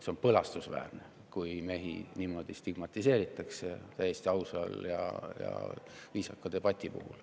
See on põlastusväärne, kui mehi niimoodi stigmatiseeritakse täiesti ausa ja viisaka debati puhul.